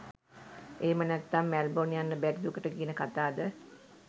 එහෙම නැත්නම් මැල්බොන් යන්න බැරි දුකට කියන කතාද?